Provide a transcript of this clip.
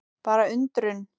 Bara undrun.